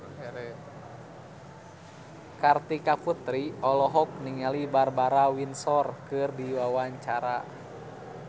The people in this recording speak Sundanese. Kartika Putri olohok ningali Barbara Windsor keur diwawancara